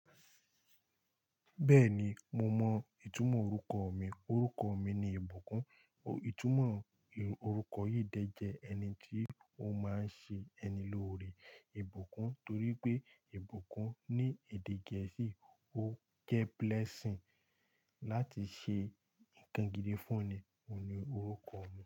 Bẹ́ẹ̀ni, mo mọ ìtumọ̀ orúkoọ mi. Orúkoọ mi ni ìbùkún. Ìtumọ̀ orúkọ yìí de jẹ ẹni tí ó máa ń ṣe ẹni lórí, ìbùkún, torí pé ìbùkún ní èdè gẹ̀ẹ́sì ó jẹ́ blessing láti ṣe ń kan gidi fún ni. Óhun ni orúkoọ mi.